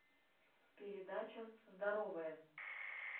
передача здоровая